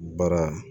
Baara